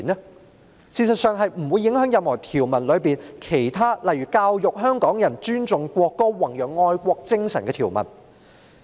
事實上，這項修正案不會影響《條例草案》中任何其他條文，例如教育香港人尊重國歌、宏揚愛國精神的條文。